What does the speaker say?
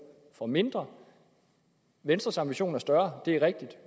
for mindre venstres ambition er større det er rigtigt